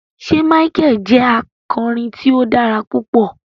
Ṣe Michael jẹ akọrin ti o dara pupọ?